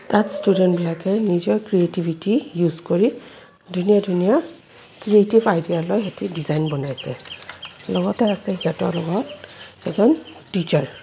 তাত ষ্টুডেন্টবিলাকে নিজৰ ক্ৰীয়েটিভিতি ইউছ কৰি ধুনীয়া ধুনীয়া ক্ৰীয়েটিভ আইডিয়া লৈ সেইটো ডিজাইন বনাইছে লগতে আছে সিহঁতৰ লগত এজন টিচাৰ ।